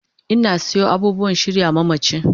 Ina sayo abubuwan shirya mamachi